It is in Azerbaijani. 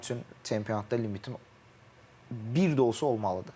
mənim üçün çempionatda limitim bir də olsa olmalıdır.